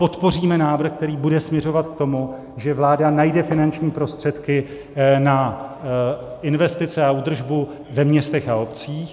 Podpoříme návrh, který bude směřovat k tomu, že vláda najde finanční prostředky na investice a údržbu ve městech a obcích.